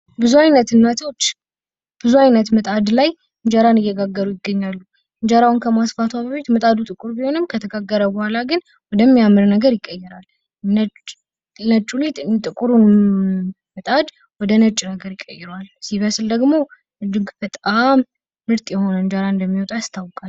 ብዙ አይነት እናቶች ብዙ አይነት ምጣድ ላይ እንጀራን እየጋገሩ ይገኛሉ እንጀራዋን ከማስፋቷ በፊት ምጣዱ ጥቁር ቢሆንም ከተጋገረ በኋላ ግን ወደ ሚያምር ነገር ይቀየራል ነጩ ሊጥ ጥቁሩን ምጣድ ወደ ነጭ ነገር ይቀይረዋል ሲበስል ደግሞ እጅግ በጣም ምርጥ የሆነ እንጀራ እንደሚወጣው ያስታውቃል ።